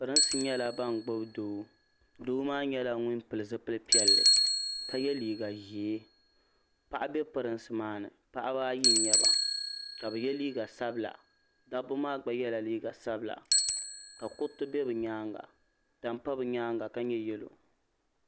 pirinsi nyɛla ban gbubi Doo doo maa nyɛla ŋun pili zipili piɛlli ka yɛ kiiga ʒiɛ paɣa bɛ pirinsi maa ni paɣaba ayi n nyɛba ka bi yɛ liiga sabila dabba maa gba yɛla liiga sabila ka kuriti bɛ bi nyaanga tani pa bi nyaanga ka nyɛ yɛlo